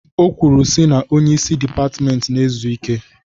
O kwuru sị na onye isi dịpatment na-ezu ike